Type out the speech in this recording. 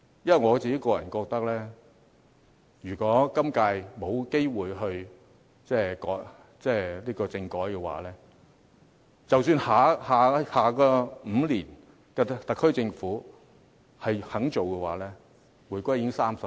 因為我個人覺得，如果今屆沒有機會推行政改的話，即使下一個5年的特區政府願意做，但其時回歸已30年。